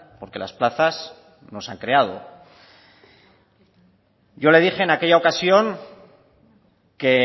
porque las plazas no se han creado yo le dije en aquella ocasión que